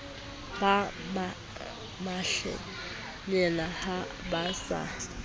ba mehlengena ha ba sa